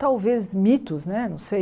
Talvez mitos né, não sei.